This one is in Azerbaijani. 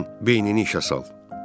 İndi sən beynini işə sal.